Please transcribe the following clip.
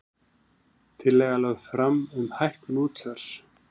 Tillaga lögð fram um hækkun útsvars